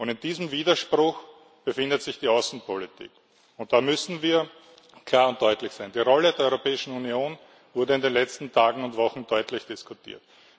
In diesen Widerspruch befindet sich die Außenpolitik, und da müssen wir klar und deutlich sein Die Rolle der Europäischen Union wurde in den letzten Tagen und Wochen deutlich diskutiert.